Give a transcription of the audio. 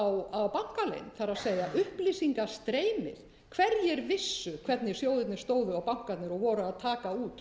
á bankaleynd það er upplýsingastreymi hverjir vissu hvernig sjóðirnir stóðu og bankarnir og voru að taka út